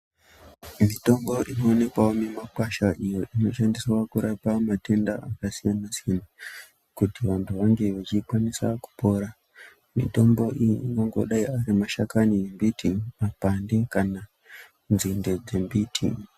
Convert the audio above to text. Mitombo inowanikwawo mumakwasha iyo inoshandiswa kurapa matenda akasiyana-siyana, kuti vantu vange vachikwanisa kupora, mitombo iyi ingangodayi ari mashakani embiti mapande kana nzinde dzembiti.